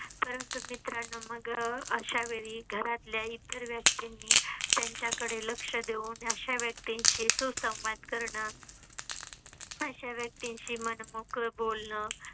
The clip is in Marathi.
परंतु मित्रांनो मग अह अशा वेळी घरातल्या इतर व्यक्तींनी त्यांच्याकडे लक्ष देऊन अशा व्यक्तींशी सुसंवाद करन अशा व्यक्तीशी मनमोकळं बोलणं